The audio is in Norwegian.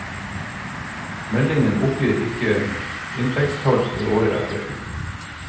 Meldingen oppgir ikke inntektstall for året etter.